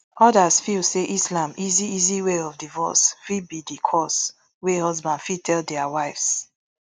odas feel say islam easy easy way of divorce fit be di cause wia husband fit tell dia wives